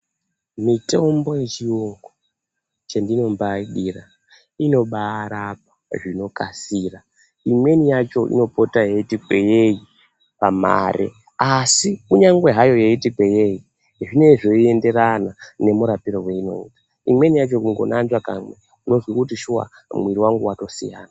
Mitombo yechiyungu chendinombaaidira inobaarapa zvinokasira. Imweni yacho inopota yeiti kweyeyi pamare asi kunyangwe hayo yeiti kweyei zvinenge zveienderana nemurapire weinoita. Imweni yacho kungonambura kamwe unozwe kuti shuwa mwiri wangu watosiyana.